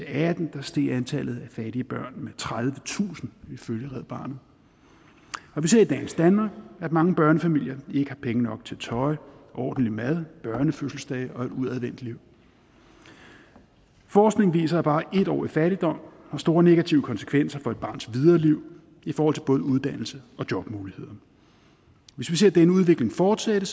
atten steg antallet af fattige børn med tredivetusind ifølge red barnet vi ser i dagens danmark at mange børnefamilier ikke har penge nok til tøj ordentlig mad børnefødselsdage og et udadvendt liv forskning viser at bare et år i fattigdom har store negative konsekvenser for et barns videre liv i forhold til både uddannelse og jobmuligheder hvis vi ser at denne udvikling fortsætter